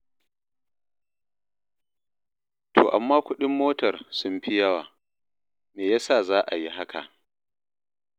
To amma kuɗin motar sun fi yawa, me ya sa za a yi haka?